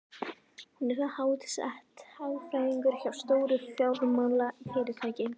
Hún er þar háttsett, hagfræðingur hjá stóru fjármálafyrirtæki.